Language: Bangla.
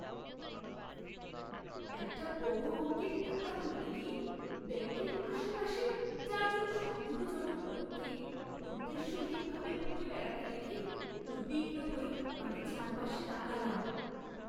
একটা বড় অঙ্কের টাকা তুলতে গিয়ে ব্যাঙ্কের আশেপাশে চার জন সন্দেহজনক লোককে উদ্দেশ্যহীন ভাবে ঘুরে বেড়াতে দেখে উদ্বিগ্ন হয়ে আমি চারপাশে তাকালাম।